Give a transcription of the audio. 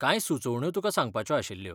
कांय सुचोवण्यो तुका सांगपाच्यो आशिल्ल्यो.